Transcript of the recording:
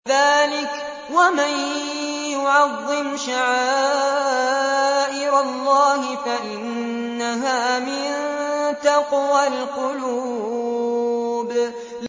ذَٰلِكَ وَمَن يُعَظِّمْ شَعَائِرَ اللَّهِ فَإِنَّهَا مِن تَقْوَى الْقُلُوبِ